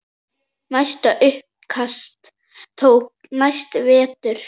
Næsta uppkast tók næsta vetur.